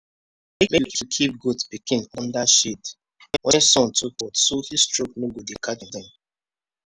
make you keep goat pikin under shade when sun too hot so heatstroke no go tek carry dem.